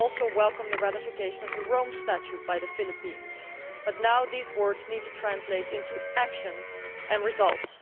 We also welcome the ratification of the Rome Statute by the Philippines, but now these words need to translate into actions and results.